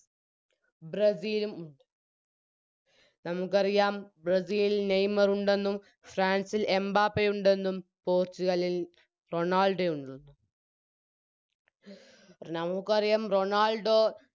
ബ്രസീലും ഉം നമുക്കറിയാം ബ്രസീലിൽ നെയ്മറുണ്ടെന്നും ഫ്രാൻ‌സിൽ എംബപ്പേ ഉണ്ടെന്നും പോർച്ചുഗലിൽ റൊണാൾഡൊയുണ്ടെന്നും നമുക്കറിയാം റൊണാൾഡോ